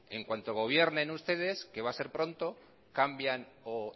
en cuanto gobiernen ustedes que va ser pronto cambian o